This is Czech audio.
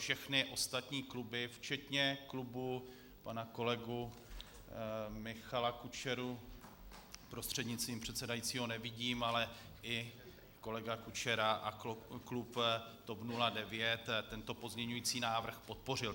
Všechny ostatní kluby včetně klubu pana kolegy Michala Kučery, prostřednictvím předsedajícího nevidím, ale i kolega Kučera a klub TOP 09 tento pozměňovací návrh podpořili.